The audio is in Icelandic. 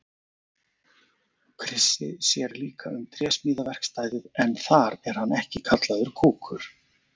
Krissi sér líka um trésmíðaverkstæðið en þar er hann ekki kallaður kúkur.